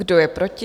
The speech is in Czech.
Kdo je proti?